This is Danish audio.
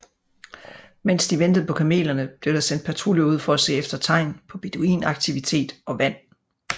Mens de ventede på kamelerne blev der sendt patruljer ud for at se efter tegn på beduinaktivitet og vand